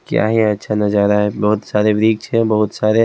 क्या ही अच्छा नजारा है बहुत सारे वृक्ष है बहुत सारे--